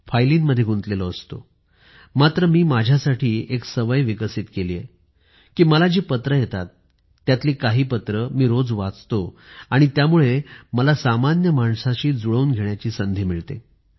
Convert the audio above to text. फायलींमध्ये गुंतलेलो असतो मात्र मी माझ्यासाठी एक सवय विकसित केली आहे की मला जी पत्रे येतात त्यातली काही पत्रे मी रोज वाचतो आणि त्यामुळे मला सामान्य माणसाशी जुळून घेण्याची संधी मिळते